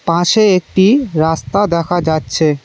পাঁশে একটি রাস্তা দেখা যাচ্ছে।